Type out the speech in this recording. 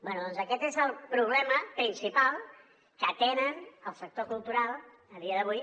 bé doncs aquest és el problema principal que té el sector cultural a dia d’avui